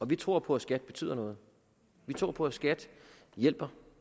vi tror på at skat betyder noget vi tror på at skat hjælper